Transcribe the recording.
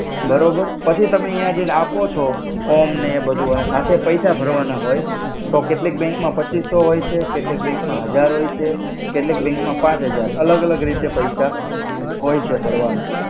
બરોબર પછી તમે ત્યા જઈ ને આપો છો ફોમ ને એ બધુ અને સાથે પૈસા ભર્વાના હોય તો કેટલિક બેંક મા પચીસો હોય છે કેટલિક બેંક મા હજાર હોય છે કેટલિક બેંક મા પચ હજાર અલ્ગ અલ્ગ પૈસા હોય છે ભર્વાના